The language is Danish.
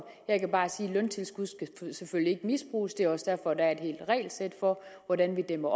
jeg kan bare sige at løntilskud selvfølgelig ikke misbruges det er også derfor at der er et helt regelsæt for hvordan vi dæmmer